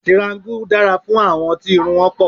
Tiraańgù dára fún àwọn tí irun wọn pọ̀